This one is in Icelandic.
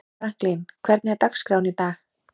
Franklin, hvernig er dagskráin í dag?